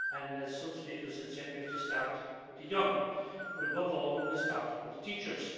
As some speakers have said, we have to start with the young, but above all we must start with teachers.